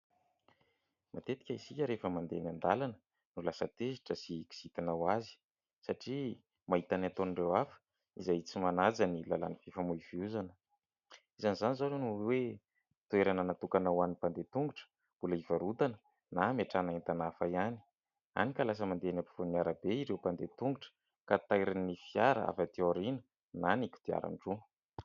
Matetika isika rehefa mandeha eny andalana dia lasa tezitra sy kizitina ho azy ; satria mahita ny ataon'ireo hafa izay tsy manaja ny lalàna fifamoivoizana. Izany izao ny hoe toerana natokana ho any mpandeha tongotra mbola ivarotana na ametrahana entana hafa ihany ; hany ka lasa mandeha eny ampovoan'arabe ireo mpandeha tongotra ka tairin'ny fiara avy aty aoriana na ny kodiaran-droa.